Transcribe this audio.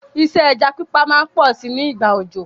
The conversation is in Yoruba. Isẹ́ ẹja pípa má n pọ si nígbà òjò